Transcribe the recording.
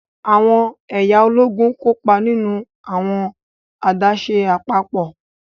Awọn ẹya Ológùn kópa nínú awọn adaṣe apapọ.